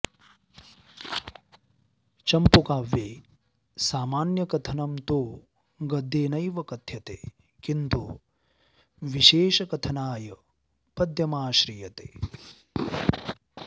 चम्पूकाव्ये सामान्यकथनं तु गद्येनैव कथ्यते किन्तु विशेषकथनाय पद्यमाश्रियते